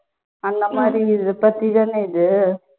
அந்த மாதிரி இது இதுபத்தி தான இது